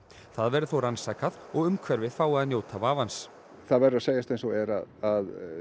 það verði þó rannsakað og umhverfið fái að njóta vafans það verður að segjast eins og er að